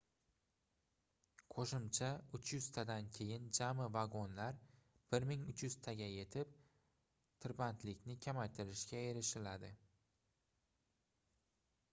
qoʻshimcha 300 tadan keyin jami vagonlar 1300 taga yetib tirbandlikni kamaytiririshga erishiladi